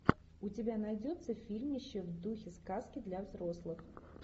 у тебя найдется фильмище в духе сказки для взрослых